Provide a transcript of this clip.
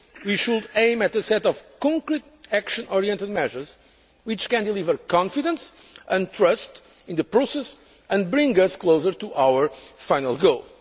We should aim at a set of concrete action oriented measures which can deliver confidence and trust in the process and bring us closer to our final